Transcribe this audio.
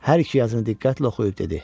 Hər iki yazını diqqətlə oxuyub dedi: